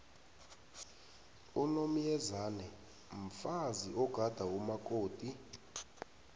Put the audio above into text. unomyezane mfazi ogada umakoti